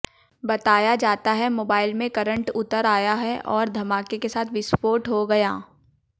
बताया जाता है मोबाइल में करंट उतर आया और धमाके के साथ विस्फोट हो गया